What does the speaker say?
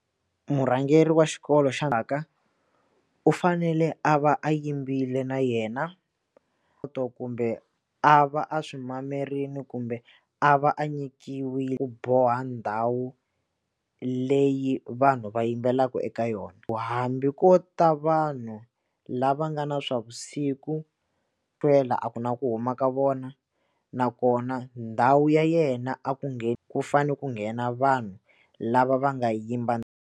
Murhangeri wa xikolo u fanele a va a yimbile na yena to kumbe a va a swi mamarile kumbe a va a nyikiwe ku boha ndhawu leyi vanhu va yimbelelaka eka yona ku hambi ko ta vanhu lava nga na swa vusiku twela a ku na ku huma ka vona nakona ndhawu ya yena a ku ku fanele ku nghena vanhu lava va nga yimba.